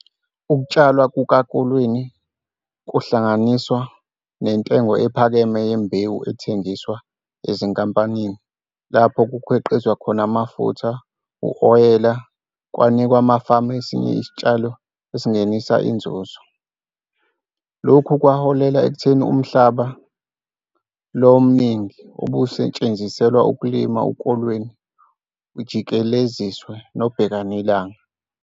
Ukutshalwa kukakolweni kuhlanganiswa nentengo ephakeme yembewu ethengiswa ezinkomponini lapho kukhiqizwa khona amafutha, uwoyela kwanika amafama esinye futhi isitshalo esingenisa inzuzo. Lokhu kwaholela ekutheni umhlaba lo omningi obususetshenziselwa ukulima ukolweni ujikeleziswe nobhekilanga.